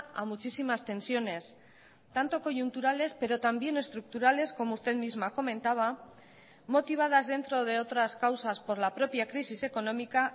a muchísimas tensiones tanto coyunturales pero también estructurales como usted misma comentaba motivadas dentro de otras causas por la propia crisis económica